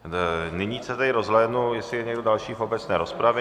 Nyní se tedy rozhlédnu, jestli je někdo další v obecné rozpravě.